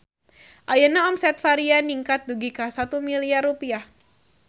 Ayeuna omset Varia ningkat dugi ka 1 miliar rupiah